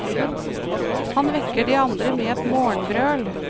Han vekker de andre med et morgenbrøl.